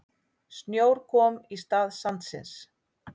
Snjór kom í stað sandsins.